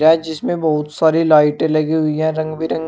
है जिसमें बहुत सारी लाइटे लगी हुई हैं रंग बिरंग--